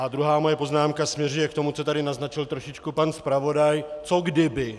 A druhá moje poznámka směřuje k tomu, co tady naznačil trošičku pan zpravodaj - co kdyby.